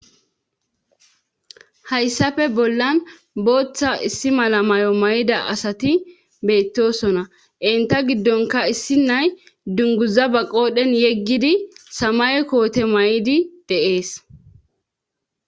hayssafe bollan booththa issi malamayo may7ida asati beettosona inta giddonka issi nay dunguza ba qoodhen yeggidi samay koote may7di deees